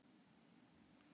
Þar eru tvö tjásuleg mörk.